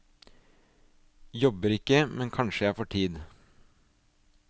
Jobber ikke, men kanskje jeg får tid.